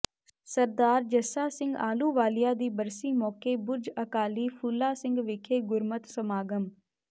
ਸਰਦਾਰ ਜੱਸਾ ਸਿੰਘ ਆਹਲੂਵਾਲੀਆ ਦੀ ਬਰਸੀ ਮੌਕੇ ਬੁਰਜ ਅਕਾਲੀ ਫੂਲਾ ਸਿੰਘ ਵਿਖੇ ਗੁਰਮਤਿ ਸਮਾਗਮ